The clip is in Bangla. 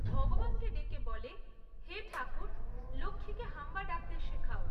ভগবানকে ডেকে বলে, হে ঠাকুর, লক্ষ্মীকে হাম্বা ডাকতে শেখাও!